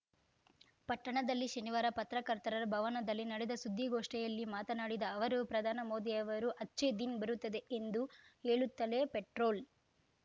ಪಟ್ಟಣದಲ್ಲಿ ಶನಿವಾರ ಪತ್ರಕರ್ತರ ಭವನದಲ್ಲಿ ನಡೆದ ಸುದ್ದಿಗೋಷ್ಠಿಯಲ್ಲಿ ಮಾತನಾಡಿದ ಅವರು ಪ್ರಧಾನಿ ಮೋದಿಯವರು ಅಚ್ಚೇದಿನ್‌ ಬರುತ್ತದೆ ಎಂದು ಹೇಳುತ್ತಲೇ ಪೆಟ್ರೋಲ್‌